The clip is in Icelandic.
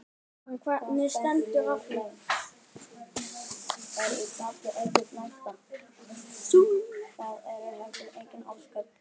Karen: Hvernig stendur á því?